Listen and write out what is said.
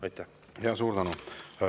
Suur tänu!